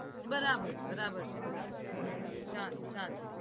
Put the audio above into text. બરાબર બરાબર છે બરાબર શાંત શાંત